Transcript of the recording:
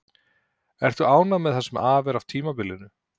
Ertu ánægð með það sem af er tímabilinu?